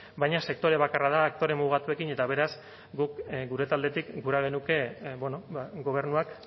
baina sektore bakarra da aktore mugatuekin eta beraz guk gure taldetik gura genuke bueno ba gobernuak